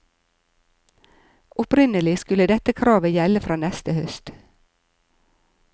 Opprinnelig skulle dette kravet gjelde fra neste høst.